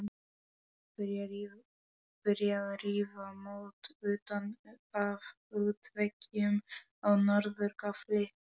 Byrjað að rífa mót utan af útveggjum á norður gafli.